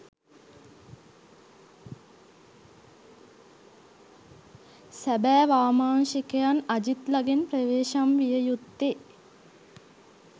සැබෑ වාමාංශිකයන් අජිත්ලගෙන් ප්‍රවේශම් විය යුත්තේ